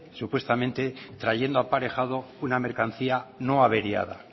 supuestamente trayendo aparejado una mercancía no averiada